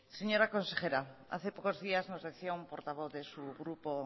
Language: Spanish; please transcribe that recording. señora consejera hace pocos días nos decía un portavoz de su grupo